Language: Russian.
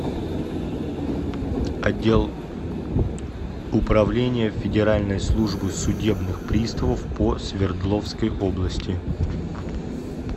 отдел управления федеральной службы судебных приставов по свердловской области